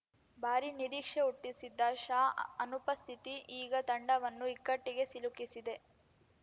ಭಾರೀ ನಿರೀಕ್ಷೆ ಹುಟ್ಟಿಸಿದ್ದ ಶಾ ಅನುಪಸ್ಥಿತಿ ಈಗ ತಂಡವನ್ನು ಇಕ್ಕಟ್ಟಿಗೆ ಸಿಲುಕಿಸಿದೆ